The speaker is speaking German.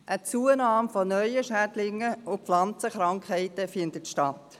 Eine Zunahme neuer Schädlinge und Pflanzenkrankheiten findet statt.